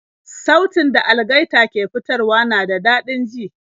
Sautin da algaita ke fitarwa na da dadin ji